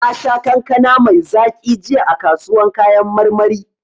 Nasha kankana mai zaki jiya a kasuwan kayan marmari.